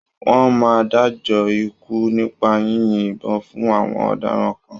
Wọ́n máa ń dájọ́ ikú nípa yínyin ìbọn fún àwon ọ̀daràn kan.